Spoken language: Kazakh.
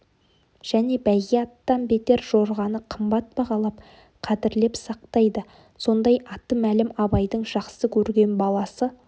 және бәйге аттан бетер жорғаны қымбат бағалап қадірлеп сақтайды сондай аты мәлім абайдың жақсы көрген баласы